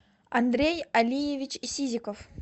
андрей алиевич сизиков